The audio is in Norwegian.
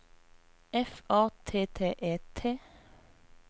F A T T E T